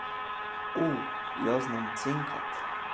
O, jaz znam cenkat.